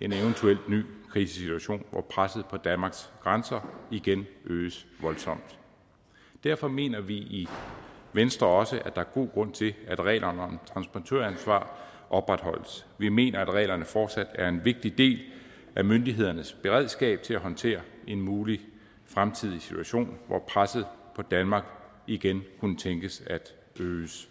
en eventuel ny krisesituation hvor presset på danmarks grænser igen øges voldsomt derfor mener vi i venstre også at er god grund til at reglerne om transportøransvar opretholdes vi mener at reglerne fortsat er en vigtig del af myndighedernes beredskab til at håndtere en mulig fremtidig situation hvor presset på danmark igen kunne tænkes at øges